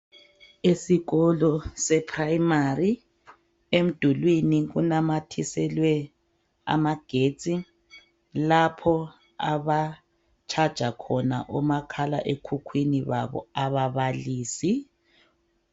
Esikolo seprimary emdulwini kunamathiselwe amagetsi lapho aba charger khona omakhalekhukhwini babo ababalisi.